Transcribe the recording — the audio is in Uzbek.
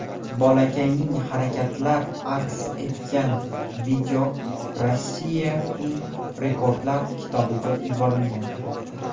Bolakayning harakatlar aks etgan video Rossiyaning rekordlar kitobiga yuborilgan.